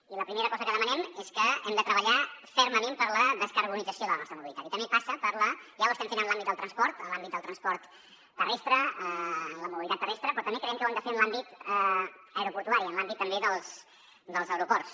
i la primera cosa que demanem és que hem de treballar fermament per la descarbonització de la nostra mobilitat que ja ho estem fent en l’àmbit del transport terrestre de la mobilitat terrestre però també creiem que ho hem de fer en l’àmbit aeroportuari en l’àmbit també dels aeroports